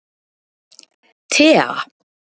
Tea